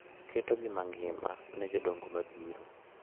Ketogi mangima ne jodongo mabiro bang’e.